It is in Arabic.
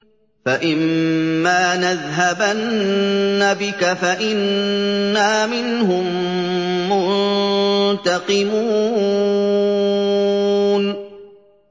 فَإِمَّا نَذْهَبَنَّ بِكَ فَإِنَّا مِنْهُم مُّنتَقِمُونَ